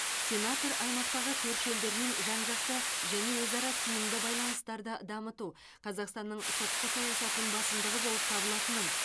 сенатор аймақтағы көрші елдермен жан жақты және өзара тиімді байланыстарды дамыту қазақстанның сыртқы саясатының басымдығы болып табылатынын